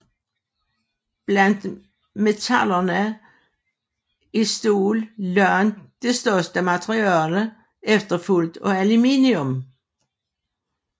Blandt metallerne er stål langt det største materiale efterfulgt af aluminium